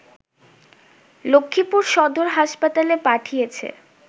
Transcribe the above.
লক্ষ্মীপুর সদর হাসপাতালে পাঠিয়েছে